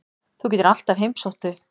Þú getur alltaf heimsótt þau.